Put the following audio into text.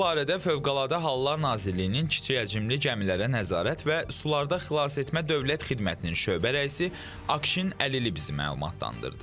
Bu barədə Fövqəladə Hallar Nazirliyinin kiçikhəcmli gəmilərə nəzarət və sularda xilasetmə dövlət xidmətinin şöbə rəisi Akşin Əlili bizi məlumatlandırdı.